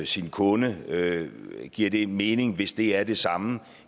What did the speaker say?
sin kunde giver det mening hvis det er det samme